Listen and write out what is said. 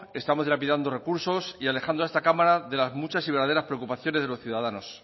estamos dilapidando recursos y alejando a esta cámara de las muchas y verdaderas preocupaciones de los ciudadanos